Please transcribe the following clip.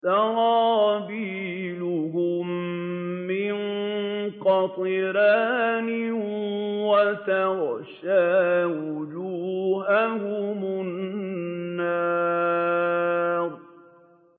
سَرَابِيلُهُم مِّن قَطِرَانٍ وَتَغْشَىٰ وُجُوهَهُمُ النَّارُ